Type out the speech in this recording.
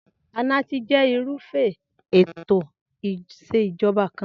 Anarchy je irúfé ètò ìsèjoba kan